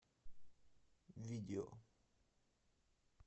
видео